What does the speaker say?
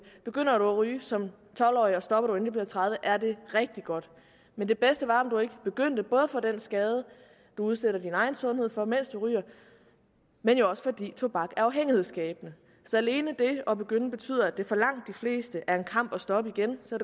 begynder du at ryge som tolv årig og stopper du inden du bliver tredive år er det rigtig godt men det bedste var om du ikke begyndte både på den skade du udsætter din egen sundhed for mens du ryger og jo også fordi tobak er afhængighedsskabende så alene det at begynde betyder at det for langt de fleste er en kamp at stoppe igen så